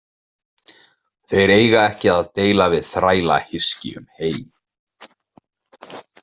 Þeir eiga ekki að deila við þrælahyski um hey.